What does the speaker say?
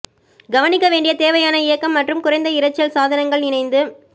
கவனிக்க வேண்டிய தேவையான இயக்கம் மற்றும் குறைந்த இரைச்சல் சாதனங்கள் இணைந்து